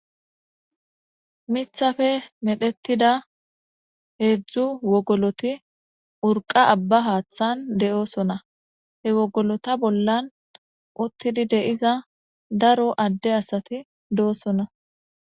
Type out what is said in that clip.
Mithafe medhetida heedzdzu wogoloti urqa abba haaththan de'osona he wogolota bollan uttidi deiza daro adde asati doosona.